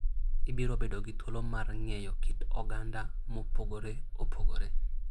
Ibiro bedo gi thuolo mar ng'eyo kit oganda mopogore opogore.